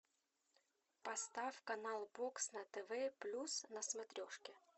поставь канал бокс на тв плюс на смотрежке